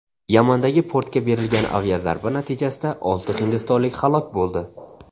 Yamandagi portga berilgan aviazarba natijasida olti hindistonlik halok bo‘ldi.